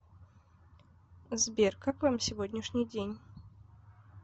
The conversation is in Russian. сбер как вам сегодняшний день